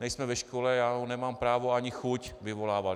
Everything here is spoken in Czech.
Nejsme ve škole, já ho nemám právo ani chuť vyvolávat.